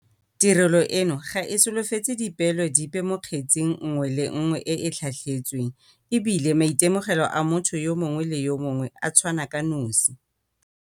Tirelo eno ga e solofetse dipeelo dipe mo kgetseng nngwe le nngwe e e tlhatlhetsweng e bile maitemogelo a motho yo mongwe le yo mongwe a tshwana ka nosi.